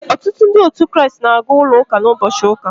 Ọtụtụ Ndị otu Kraịst na-aga ụlọ ụka n’ụbọchị ụka.